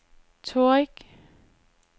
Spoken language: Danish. Torrig